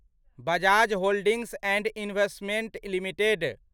Bajaj holdings and investment limited